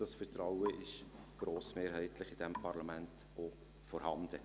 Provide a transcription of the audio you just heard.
Das Vertrauen ist in diesem Parlament grossmehrheitlich auch vorhanden.